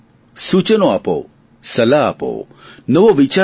સુચનો આપો સલાહ આપો નવો વિચાર આપો